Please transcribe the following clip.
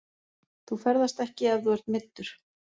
Þú ferðast ekki ef þú ert meiddur.